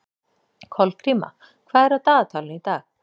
Kolgríma, hvað er á dagatalinu í dag?